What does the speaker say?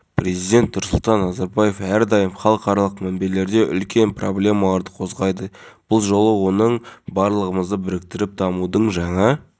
еліміздің түкпір-түкпірінде оқушыны мектепке даярлауға көмектесті мемлекеттік корпорация қызметкерлері жинаған қаражатқа оқу құрал-жабдығы мен мектеп